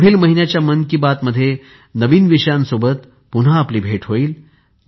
पुढील महिन्याच्या मन कि बात मध्ये नवीन विषयांसोबत पुन्हा आपली भेट होईल